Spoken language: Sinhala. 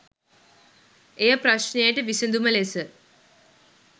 එය ප්‍රශ්නයට විසඳුම ලෙස